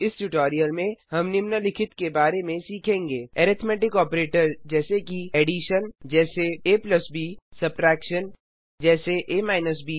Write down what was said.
इस ट्यूटोरियल में हम निम्नलिखित के बारे में सीखेंगे अरिथ्मैटिक ऑपरेटर जैसे कि Addition जैसे ab Subtraction जैसे a ब